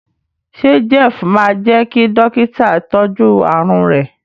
ṣe Jeff má jé kí Dọ́kítà tọjú àrùn rẹ?